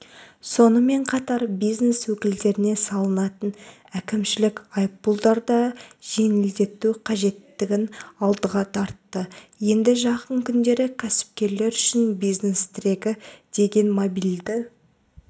сонымен қатар бизнес өкілдеріне салынатын әкімшілік айыппұлдарды да жеңілдету қажеттігін алдыға тартты енді жақын күндері кәсіпкерлер үшін бизнес тірегі деген мобильді